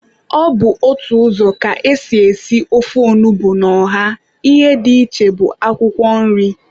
Ọ bụ otu ụzọ ka ésì èsí ofe onugbu na ọha, ihe dị iche bụ akwụkwọ nri.